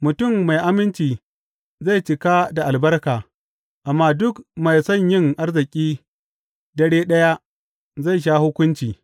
Mutum mai aminci zai cika da albarka, amma duk mai son yin arziki dare ɗaya zai sha hukunci.